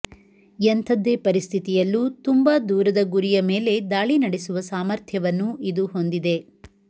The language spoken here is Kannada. ಎಂಥದ್ದೇ ಪರಿಸ್ಥಿತಿಯಲ್ಲೂ ತುಂಬ ದೂರದ ಗುರಿಯ ಮೇಲೆ ದಾಳಿ ನಡೆಸುವ ಸಾಮರ್ಥ್ಯವನ್ನು ಇದು ಹೊಂದಿದೆ